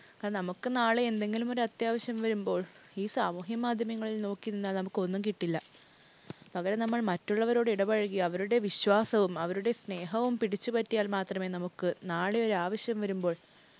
നമുക്ക് നാളെ എന്തെങ്കിലും അത്യാവശ്യം വരുമ്പോൾ ഈ സാമൂഹിക മാധ്യമങ്ങളിൽ നോക്കി നിന്നാൽ നമുക്ക് ഒന്നും കിട്ടില്ല. പകരം നമ്മൾ മറ്റുള്ളവരോട് ഇടപഴകി അവരുടെ വിശ്വാസവും അവരുടെ സ്നേഹവും പിടിച്ചുപറ്റിയാൽ മാത്രമേ നമുക്ക് നാളെ ഒരു ആവശ്യം വരുമ്പോൾ